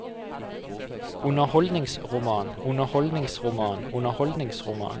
underholdningsroman underholdningsroman underholdningsroman